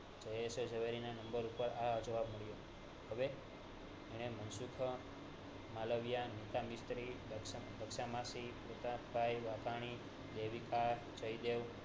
જયેશ એ ઝવેરી ના નંબર પર આ જવાબ મોકલ્યો